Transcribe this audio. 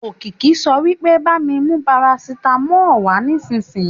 Òkìkí sọ wípé bá mí mú parasitamolu wà nísìsiyìí